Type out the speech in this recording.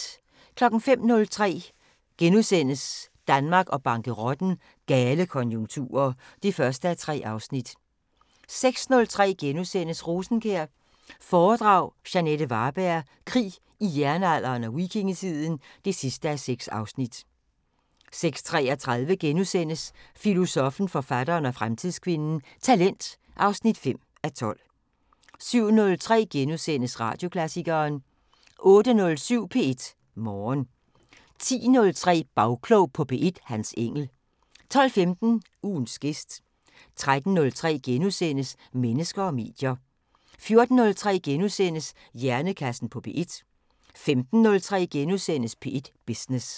05:03: Danmark og bankerotten: Gale konjunkturer (1:3)* 06:03: Rosenkjær foredrag – Jeanette Varberg: Krig i Jernalderen og Vikingetiden (6:6)* 06:33: Filosoffen, forfatteren og fremtidskvinden: Talent (5:12)* 07:03: Radioklassikeren * 08:07: P1 Morgen 10:03: Bagklog på P1: Hans Engell 12:15: Ugens gæst 13:03: Mennesker og medier * 14:03: Hjernekassen på P1 * 15:03: P1 Business *